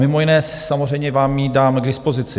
Mimo jiné samozřejmě vám ji dám k dispozici.